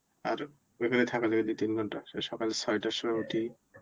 আর ওখানেই থাকা যায় দুই তিন ঘণ্টা. সকালে ছয়টার সময় উঠি